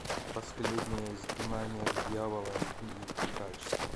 последнее изгнание дьявола аш ди качество